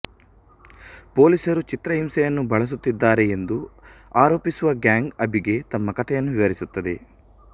ಪೊಲೀಸರು ಚಿತ್ರಹಿಂಸೆಯನ್ನು ಬಳಸುತ್ತಿದ್ದಾರೆ ಎಂದು ಆರೋಪಿಸುವ ಗ್ಯಾಂಗ್ ಅಭಿಗೆ ತಮ್ಮ ಕಥೆಯನ್ನು ವಿವರಿಸುತ್ತದೆ